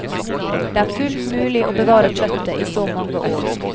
Det er fullt mulig å bevare kjøttet i så mange år.